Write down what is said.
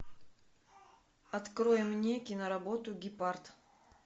открой мне киноработу гепард